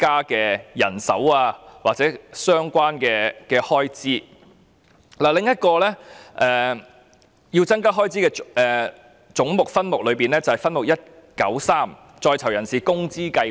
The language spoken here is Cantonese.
在這個總目下另一個需要增加開支的分目是分目193在囚人士工資計劃。